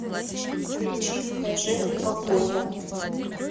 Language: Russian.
включи кажэ обойму